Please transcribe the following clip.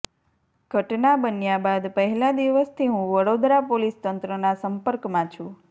ઘટના બન્યા બાદ પહેલા દિવસથી હું વડોદરા પોલીસ તંત્રના સંપર્કમાં છું